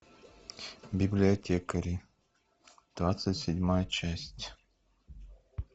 библиотекари двадцать седьмая часть